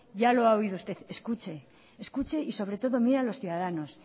ya lo ha oído usted escuche y sobre todo mire a los ciudadanos